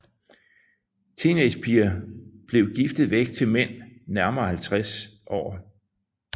Teenagerpiger blev giftet væk til mænd nærmere 50 år